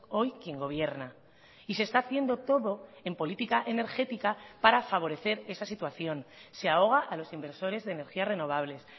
hoy quien gobierna y se está haciendo todo en política energética para favorecer esa situación se ahoga a los inversores de energías renovables